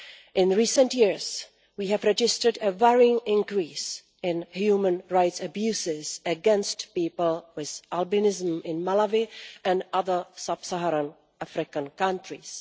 In recent years, we have registered a worrying increase in human rights abuses against people with albinism in Malawi and other sub Saharan African countries.